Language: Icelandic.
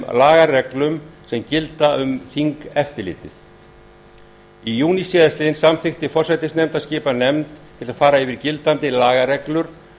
lagareglum sem gilda um þingeftirlitið í júní síðastliðinn samþykkti forsætisnefnd að skipa nefnd til að fara yfir gildandi lagareglur